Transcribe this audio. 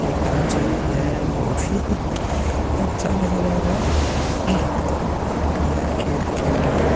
एक पूछ है। ये बहोत ही अच्छा नजर आ रहा है। ये खेत के अंदर --